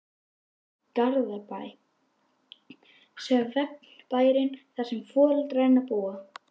Garðabæ, svefnbæinn þar sem foreldrar hennar búa.